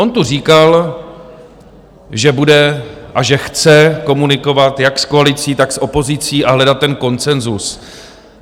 On tu říkal, že bude a že chce komunikovat jak s koalicí, tak s opozicí a hledat ten konsenzus.